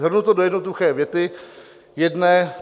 Shrnu to do jednoduché věty jedné.